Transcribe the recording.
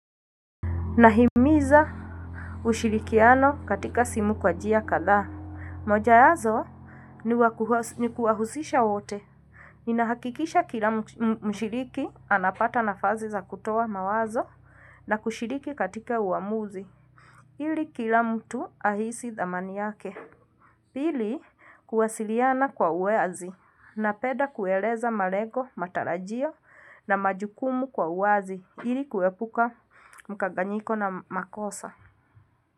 Nahimiza ushirikiano katika simu kwa njia kadhaa. Moja yazo ni kuwahusisha wote. Ninahakikisha kila mshiriki anapata nafazi za kutoa mawazo na kushiriki katika uamuzi. Ili kila mtu ahisi thamani yake. Pili kuwasiliana kwa uwazi napeda kueleza malego, matarajio na majukumu kwa uwazi ili kuepuka mkanganyiko na makosa. Kwa hivyo.